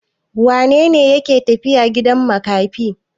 Wane ne yake tafiya gidan makafi?